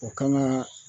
O kan ka